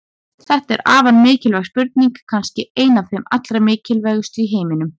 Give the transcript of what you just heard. Þetta er afar mikilvæg spurning, kannski ein af þeim allra mikilvægustu í heiminum!